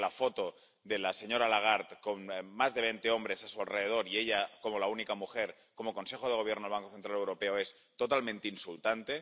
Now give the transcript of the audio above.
Creo que la foto de la señora Lagarde con más de veinte hombres a su alrededor y ella como la única mujer en el Consejo de Gobierno del Banco Central Europeo es totalmente insultante.